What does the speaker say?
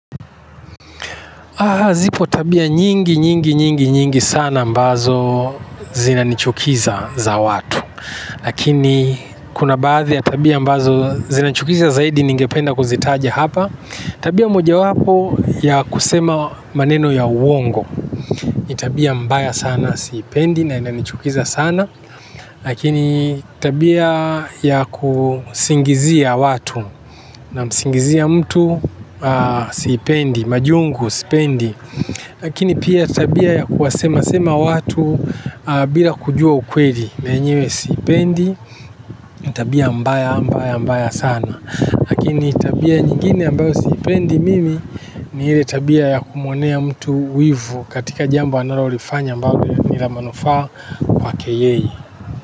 Zipo tabia nyingi, nyingi, nyingi, nyingi sana ambazo zinanichukiza za watu. Lakini kuna baadhi ya tabia ambazo zinachukiza zaidi ningependa kuzitaja hapa. Tabia mojawapo ya kusema maneno ya uongo. Tabia mbaya sana siipendi na inanichukiza sana. Lakini tabia ya kusingizia watu na msingizia mtu siipendi, majungu sipendi. Lakini pia tabia ya kuwasema sema watu bila kujua ukweli menyewe siipendi, tabia mbaya mbaya mbaya sana. Lakini tabia nyingine ambayo siipendi mimi ni ile tabia ya kumwonea mtu wivu katika jambo analolifanya ambalo ni la manufaa kwake yeye.